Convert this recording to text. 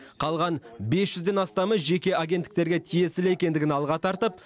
қалған бес жүзден астамы жеке агенттіктерге тиесілі екендігін алға тартып